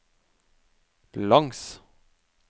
langs